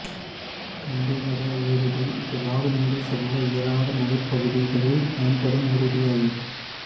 கம்பிவட ஊர்தி இது வாகனங்கள் செல்ல இயலாத மலைப்பகுதிகளில் பயன்படும் ஊர்தியாகும்